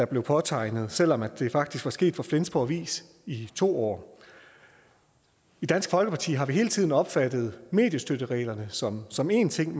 påtale selv om det faktisk var sket for flensborg avis i to år i dansk folkeparti har vi hele tiden opfattet mediestøttereglerne som som en ting